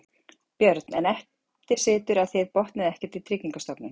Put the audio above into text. Björn: En eftir situr að þið botnið ekkert í Tryggingastofnun?